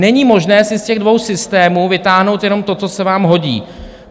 Není možné si z těch dvou systémů vytáhnout jenom to, co se vám hodí.